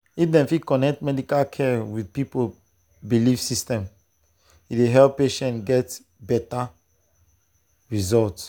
if dem fit connect medical care with people belief system e dey help patients get better result.